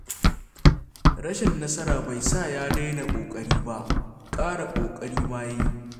Rashin nasara bai sa ya daina ƙoƙari ba; ƙara ƙoƙari ma ya yi.